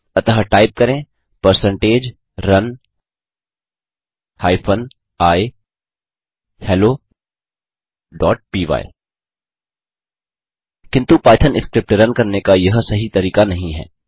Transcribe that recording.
अतः टाइप करें percentage run hyphen i hello py किन्तु पाइथन स्क्रिप्ट रन करने का यह सही तरीका नहीं है